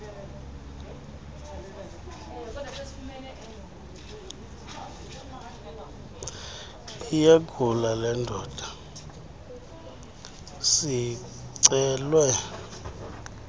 iyagula lendoda sicelwe